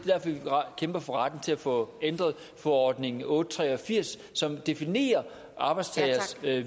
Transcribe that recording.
kæmper for retten til at få ændret forordning otte hundrede og tre og firs som definerer arbejdstageres